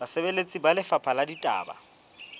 basebeletsi ba lefapha la ditaba